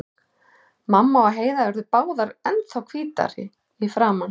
Mamma og Heiða urðu báðar ennþá hvítari í framan.